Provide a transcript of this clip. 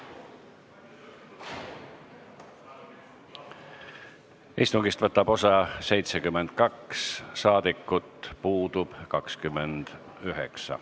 Kohaloleku kontroll Istungist võtab osa 72 saadikut, puudub 29.